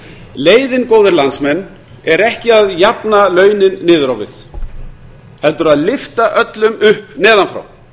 leiðin góðir landsmenn er ekki að jafna launin niður á við heldur að lyfta öllum upp neðan frá